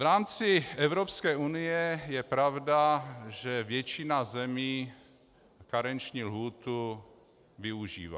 V rámci Evropské unie je pravda, že většina zemí karenční lhůtu využívá.